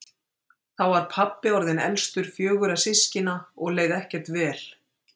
Þá var pabbi orðinn elstur fjögurra systkina og leið ekkert vel.